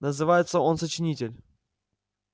называется он сочинитель